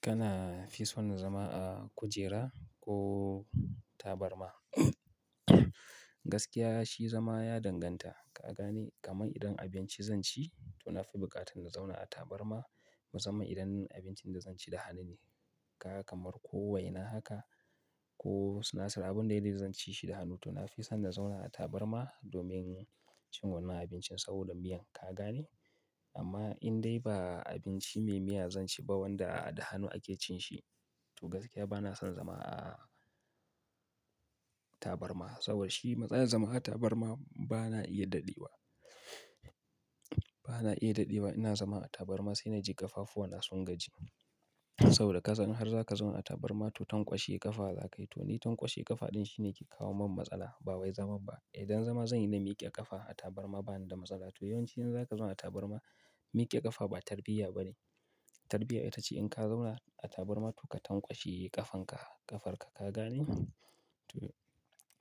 Kana fi son zama a kujera ko tabarma? Gaskiya shi zama ya danganta, ka gane? Kamar idan abinci zan ci to na fi buƙatan na zauna a tabarma. Musamman idan abincin da zan ci da hannu ne. Ka kamar ko waina haka ko sunasir. Abin da dai zan ci shi da hannu to na fi son na zauna a tabarma domin cin wannan abincin saboda miyan, ka gane? Amma in dai ba abinci mai miya zan ci ba wanda da hannu ake cin shi to gaskiya ba na son zama a tabarma. Saboda shi matsalar zama a tabarma ba na iya daɗe wa, ba na iya daɗe wa. Ina zama a tabarma sai na ji ƙafafuwa na sun gaji. Saboda ka san in har za ka zauna a tabarma to tanƙwashe ƙafa za ka yi. To ni tanƙwashe ƙafa ɗin shine ke kawo min matsala ba wai zaman ba. Idan zama zan yi na miƙe ƙafa a tabarma ba ni da matsala. To yawanci in za ka zauna a tabarma, miƙe ƙafa ba tarbiyya ba ne. Tarbiyya ita ce in ka zauna a tabarma to ka tanƙwashe ƙafan ka, ƙafar ka, ka gane? To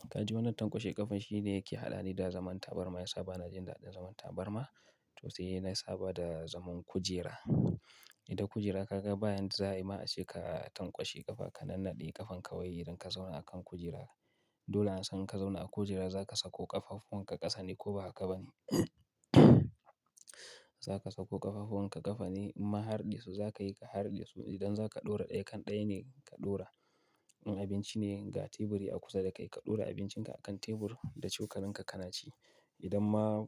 ka ji wannan tanƙwashe ƙafa shi ne yake haɗani da zaman tabarma. Gaskiya ba na jin daɗin zaman tabarma to sai na saba da zaman kujera. Idan kujera ka ga bayan za'a yi ma sai ka tanƙwashe ƙafa, ka nannaɗe ƙafan ka wai idan ka zauna a kan kujera. Dole na san in ka zauna a kujera za ka sako ƙafafun ka ƙasa ne ko ba haka ba ne. Za ka sako ƙafafunwa ka ƙasa ne? Imma harɗe su za ka yi ka harɗe su. Idan za ka ɗora ɗaya kan ɗaya ne ka ɗora. In abinci ne, ga teburi a kusa da kai, ka ɗora abincin ka a kan tebur da cokalin ka kana ci. Idan ma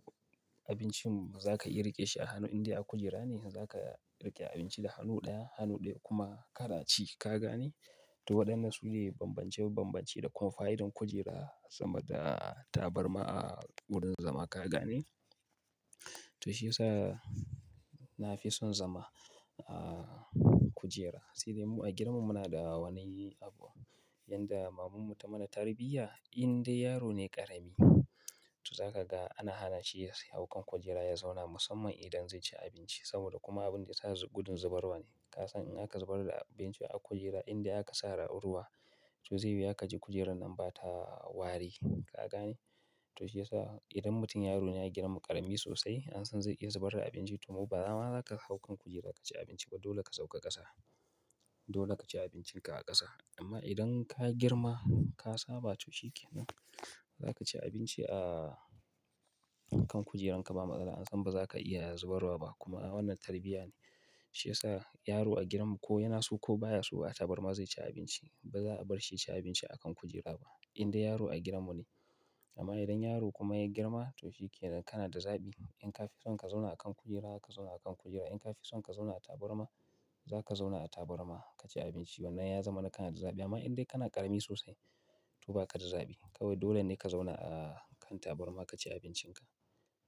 abincin za ka iya riƙe shi a hannu in dai a kujera ne, za ka riƙe abinci da hannu ɗaya, hannu ɗaya kuma kana ci, ka gane? To waɗannan su ne bambance-bambance da kuma fa'idar kujera sama da tabarma a wurin zama, ka gane? To shi ya sa na fi son zama a kujera. Sai dai mu a gidanmu muna da wani abu. Yanda mamanmu ta mana tarbiyya in dai yaro ne ƙarami to za ka ga ana hana shi ya hau kan kujera ya zauna musamman idan zai ci abinci. Saboda kuma abin da ya sa gudun zubarwa ne. Ka san in aka zubar da abinci a kujera in dai aka sare ruwa to zai yi haka ji kujerar nan ba ta wari, ka gane? To shi ya sa idan mutum yaro ne a gidanmu ƙarami sosai an san zai iya zubar da abinci to ba zama za ka hau kan kujera ka ci abinci ba dole ka sauka ƙasa. Dole ka ci abincin ka a ƙasa. Amma idan ka girma ka saba to shi ke nan. Za ka ci abinci a kan kujeranka ba matsala. An san ba za ka iya zubarwa ba kuma wannan tarbiyya ne. Shi ya sa yaro a gidanmu ko yana so ko baya so a tabarma zai ci abinci. Ba za a bar shi ya ci abinci a kan kujera ba in dai yaro a gidanmu ne. Amma idan yaro kuma ya girma to shi ke nan kana da zaɓi. In ka fi son ka zauna a kan kujera, ka zauna a kan kujera. In ka fi son ka zauna a tabarma, za ka zauna a tabarma ka ci abinci. Wannan ya zama kana da zaɓi amma idan dai kana ƙarami sosai to ba ka da zaɓi. Kawai dole ne ka zauna a kan tabarma ka ci abincin ka.